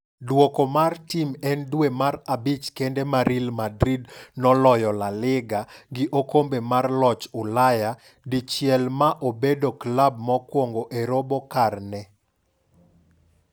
Duoko mar tim en Dwe mar abich kende ma Real Madrid noloyo La Liga gi oKombe mar joloch Ulaya dichielma obedo klab mokwongo e robo karne.